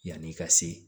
Yanni i ka se